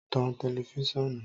Tọ̀n tẹlifisiọnu!